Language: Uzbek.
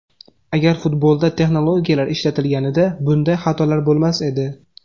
Agar futbolda texnologiyalar ishlatilganida bunday xatolar bo‘lmas edi.